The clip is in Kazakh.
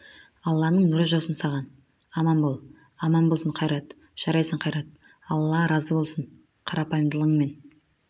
алланың нұры жаусын саған аман бол аман болсын қайрат жарайсың қайрат алла разы болсын қарапайымдылығың мен